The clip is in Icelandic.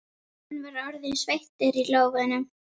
Hann var orðinn sveittur í lófunum.